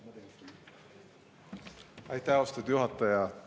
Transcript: Aitäh, austatud juhataja!